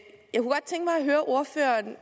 høre ordføreren